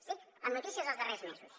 estic amb notícies dels darrers mesos